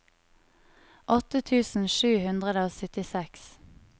åtte tusen sju hundre og syttiseks